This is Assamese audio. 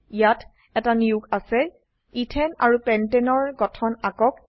ইয়াত এটা নিয়োগ আছে এথানে ইথেন আৰু পেণ্টানে পেন্টেন এৰ গঠন আকক